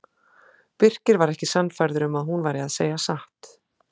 Birkir var ekki sannfærður um að hún væri að segja satt.